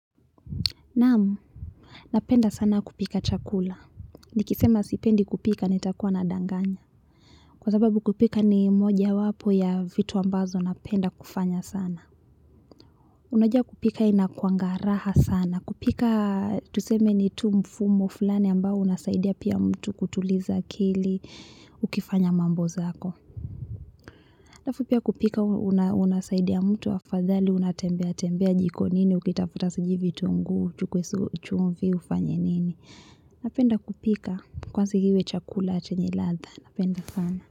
Namu, napenda sana kupika chakula, nikisema sipendi kupika nitakua nadanganya kwa sababu kupika ni mojawapo ya vitu ambazo napenda kufanya sana Unajua kupika inakuanga raha sana, kupika nitu mfumo fulani ambao unasaidia pia mtu kutuliza akili ukifanya mambo zako alafu pia kupika unasaidia mtu afadhali unatembea tembea jikoni ukitafuta sijui vitunguu, chumvi ufanye nini napenda kupika kwanza iwe chakula chenye ladha napenda sana.